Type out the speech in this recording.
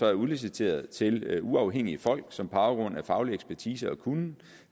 er udliciteret til uafhængige folk som på baggrund af faglig ekspertise og kunnen